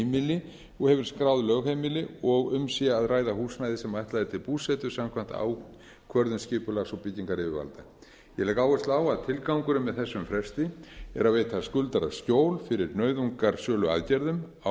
heimili og hefur skráð lögheimili og um sé að ræða húsnæði sem ætlað er til búsetu samkvæmt ákvörðun skipulags og byggingaryfirvalda ég legg áherslu á að tilgangurinn með þessum fresti er að veita skuldara skjól fyrir nauðungarsöluaðgerðum á